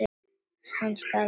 Hann skal fá þetta borgað!